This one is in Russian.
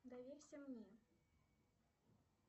доверься мне